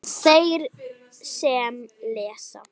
Þeir sem lesa